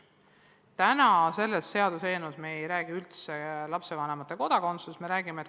Täna arutatavas seaduseelnõus ei ole üldse juttu lapsevanemate kodakondsusest.